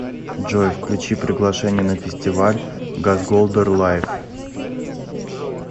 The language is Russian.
джой включи приглашение на фестиваль газголдер лайв